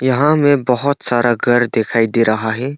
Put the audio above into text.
यहां हमें बहुत सारा घर दिखाई दे रहा है।